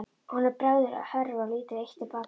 Honum bregður, hörfar lítið eitt til baka.